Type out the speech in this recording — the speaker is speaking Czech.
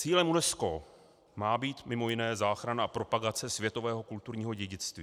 Cílem UNESCO má být mimo jiné záchrana a propagace světového kulturního dědictví.